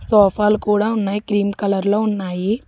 సోఫాలు కూడా ఉన్నాయి క్రీం కలర్ లో ఉన్నాయి.